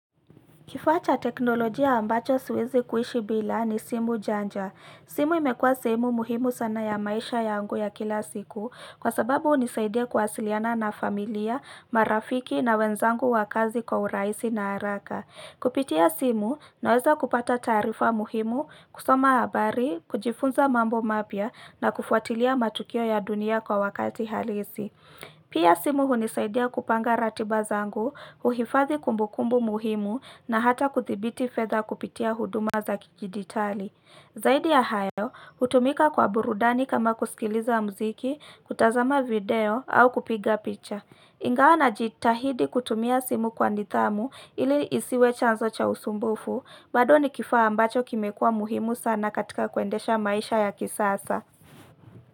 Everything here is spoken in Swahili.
Kifaa cha teknolojia ambacho siwezi kuishi bila ni simu janja. Simu imekua sehemu muhimu sana ya maisha yangu ya kila siku, kwa sababu hunisaidia kuwasiliana na familia, marafiki na wenzangu wa kazi kwa urahisi na haraka. Kupitia simu, naweza kupata taarifa muhimu, kusoma habari, kujifunza mambo mapya na kufuatilia matukio ya dunia kwa wakati halisi. Pia simu hunisaidia kupanga ratiba zangu, kuhifadhi kumbukumbu muhimu na hata kuthibiti fedha kupitia huduma za kijiditali. Zaidi ya hayo, hutumika kwa burudani kama kusikiliza muziki, kutazama video au kupiga picha. Ingawa najitahidi kutumia simu kwa nidhamu ili isiwe chanzo cha usumbufu, bado ni kifaa ambacho kimekua muhimu sana katika kuendesha maisha ya kisasa.